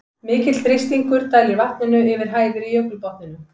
Mikill þrýstingur dælir vatninu yfir hæðir í jökulbotninum.